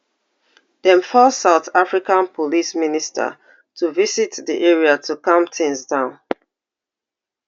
dem force south africa police minister to visit di area to calm tins down